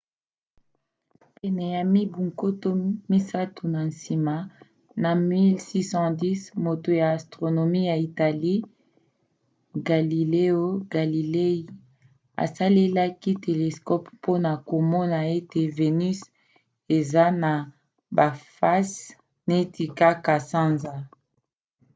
pene ya mibu nkoto misato na nsima na 1610 moto ya astronomie ya italie galileo galilei asalelaki telescope mpona komona ete venus eza na bafase neti kaka sanza